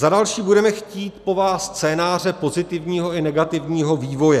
Za další budeme chtít po vás scénáře pozitivního i negativního vývoje.